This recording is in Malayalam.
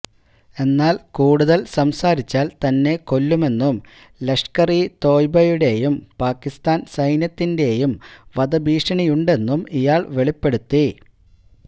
എന്നാല് കൂടുതല് സംസാരിച്ചാല് തന്നെ കൊല്ലുമെന്നും ലഷ്കര് ഇ തോയ്ബയുടേയും പാക്കിസ്ഥാന് സൈന്യത്തിന്റേയും വധഭീഷണിയുണ്ടെന്നും ഇയാള് വെളിപ്പെടുത്തി